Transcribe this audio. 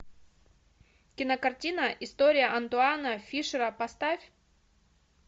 кинокартина история антуана фишера поставь